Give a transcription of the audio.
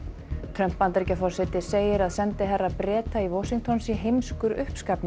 Trump Bandaríkjaforseti segir að sendiherra Breta í Washington sé heimskur